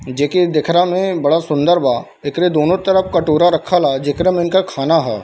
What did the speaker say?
जेके देखरा में बड़ा सुंदर बा एकरे दोनों तरफ कटोरा रखल ह जेकरा में इनका खाना ह।